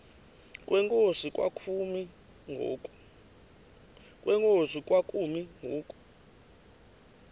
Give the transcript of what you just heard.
kwenkosi kwakumi ngoku